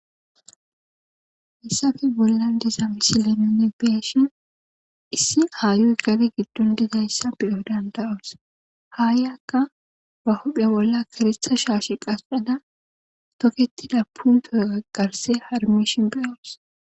hayssafe bolla diza misi lenine beyashin issi haayoy gari giddon dizayssa beyo dandayos haayyakka ba hophya bolla kiritha shaashe qasxada toketida puntoogagarse harmishin beyoos